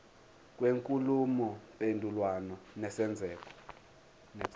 kwenkulumo mpendulwano nesenzeko